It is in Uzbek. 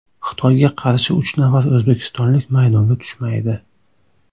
Xitoyga qarshi uch nafar o‘zbekistonlik maydonga tushmaydi.